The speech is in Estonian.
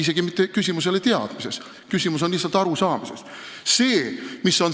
Küsimus ei ole isegi teadmises, küsimus on lihtsalt arusaamises.